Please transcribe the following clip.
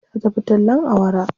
Ta tafi tallen awara.